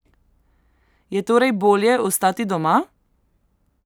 Je torej bolje ostati doma?